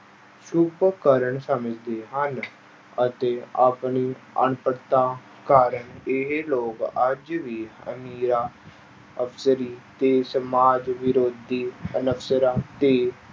ਸਮਝਦੇ ਹਨ ਅਤੇ ਆਪਣੀ ਅਨਪੜ੍ਹਤਾ ਕਾਰਨ ਇਹ ਲੋਕ ਅੱਜ ਵੀ ਅਮੀਰਾਂ ਅਫਸਰੀ ਤੇ ਸਮਾਜ ਵਿਰੋਧੀ ਅਨਸਰਾਂ ਦੇ